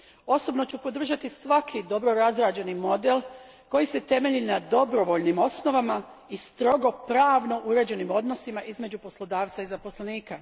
Osobno ću podržati svaki dobro razrađen model koji se temelji na dobrovoljnim osnovama i strogo pravno uređenim odnosima između poslodavca i zaposlenika.